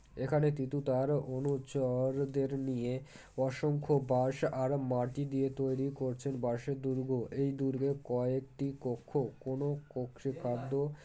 এখানে তিতু তার অনুচরদের নিয়ে অসংখ্য বাঁশ আর মাটি দিয়ে তৈরি করছেন বাঁশের দূর্গ এই দূর্গে কয়েকটি কক্ষ কোনো কক্ষে খাদ্য